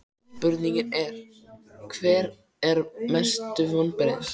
Spurningin er: Hver eru mestu vonbrigðin?